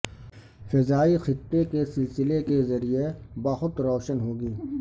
فضائی خطے کے سلسلے کے ذریعہ بہت روشن ہو گی